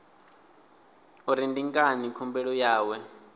uri ndi ngani khumbelo yawe